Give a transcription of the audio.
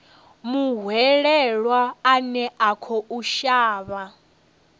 muhwelelwa ane a khou shavha